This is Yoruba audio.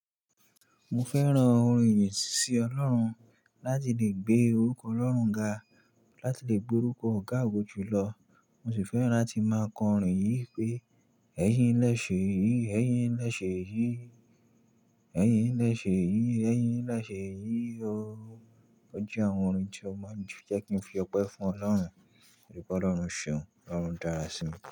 Mi fẹ́ran orin ìyìn sí Ọlọ́run láti lè gbé orúkọ Ọlọ́run ga, láti lè gbé orúkọ ọ̀gá àwọn júlọ. Mo sì fẹ́ran tí máa kọ orin yìí pé, "Ẹ̀yin lẹ́sẹ̀ yìí, ẹ́yin lẹ́sẹ̀ yìí. Ẹ̀yin lẹ́sẹ̀ yìí, ẹ́yin lẹ́sẹ̀ yìí o". Ó jẹ́ àwọn orin tí ó máa n jẹ́ kí n fi ọpẹ́ fún Ọlọ́hun, wípé Ọlọ́hun ṣeun, Ọlọ́hun dára sí mi.